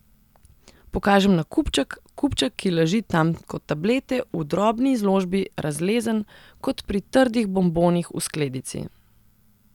Pokažem na kupček, kupček, ki leži tam kot tablete v drobni izložbi, razlezen, kot pri trdih bombonih v skledici.